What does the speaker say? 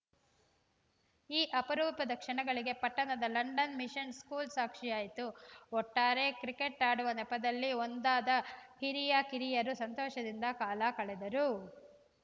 ಈ ಅಪರೂಪದ ಕ್ಷಣಗಳಿಗೆ ಪಟ್ಟಣದ ಲಂಡನ್‌ ಮಿಷನ್‌ ಸ್ಕೂಲ್‌ ಸಾಕ್ಷಿಯಾಯಿತು ಒಟ್ಟಾರೆ ಕ್ರಿಕೆಟ್‌ ಆಡುವ ನೆಪದಲ್ಲಿ ಒಂದಾದ ಹಿರಿಯಕಿರಿಯರು ಸಂತೋಷದಿಂದ ಕಾಲ ಕಳೆದರು